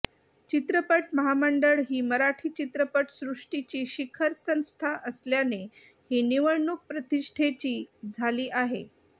चित्रपट महामंडळ ही मराठी चित्रपटसृष्टीची शिखर संस्था असल्याने ही निवडणूक प्रतिष्ठेची झाली आहे